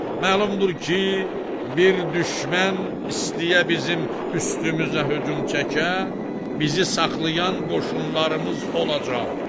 Məlumdur ki, bir düşmən istəyə bizim üstümüzə hücum çəkə, bizi saxlayan qoşunlarımız olacaq.